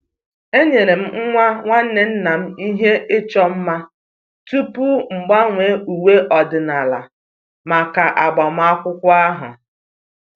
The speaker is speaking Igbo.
enyere m nwa nwanne nna m ihe ịchọ mma tupu m gbanwee uwe ọdịnala maka agbamakwụkwọ ahụ